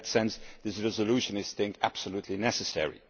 In that sense the resolution is deemed absolutely necessary.